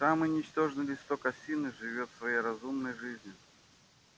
самый ничтожный листок осины живёт своей разумной жизнью